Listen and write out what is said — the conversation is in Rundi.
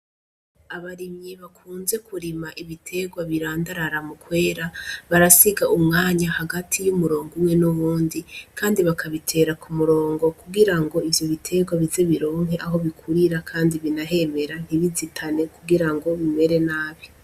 Abarimyi bakunze kurima ibiterwa birandarara mu kwera barasiga umwanya hagati y'umurongo umwe n'uwundi, kandi bakabitera ku murongo kugira ngo ivyo biterwa bize bironke aho bikurira, kandi binahemera ntibizitane kugira ngo bimere nabi.